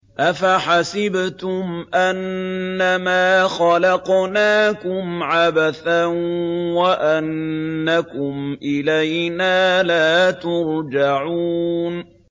أَفَحَسِبْتُمْ أَنَّمَا خَلَقْنَاكُمْ عَبَثًا وَأَنَّكُمْ إِلَيْنَا لَا تُرْجَعُونَ